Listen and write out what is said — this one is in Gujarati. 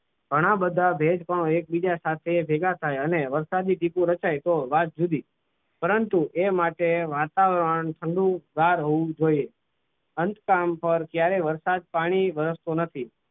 ઘણા બધા ભેજ પણ એકબીજા સાથે ભેગા થાય અને વરસાદી ત્રિપુર રચાય તો વાત જુદી પરંતુ એ માટે વાતાવરણ ઠંડુ ઘર હોવું જોઈએ અંત કામ પર જ્યારે વરસાદ પાણી વરસતો નથી.